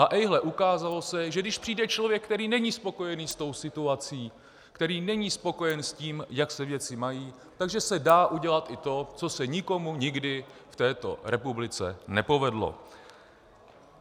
A ejhle, ukázalo se, že když přijde člověk, který není spokojený se situací, který není spokojen s tím, jak se věci mají, tak že se dá udělat i to, co se nikomu nikdy v této republice nepovedlo.